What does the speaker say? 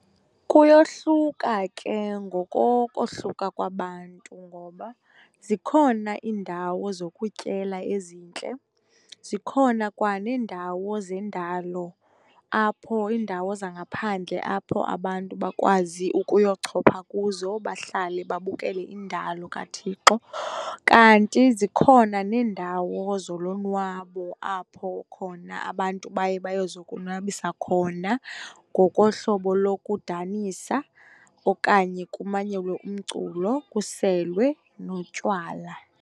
Kuyohluka ke ngokokohluka kwabantu ngoba zikhona iindawo zokutyela ezintle, zikhona kwaneendawo zendalo, apho iindawo zangaphandle apho abantu bakwazi ukuyochopha kuzo, bahlale babukele indalo kaThixo. Kanti zikhona neendawo zolonwabo apho khona abantu baye bayozokonwabisa khona ngokohlobo lokudanisa okanye kumanyelwe umculo, kuselwe notywala.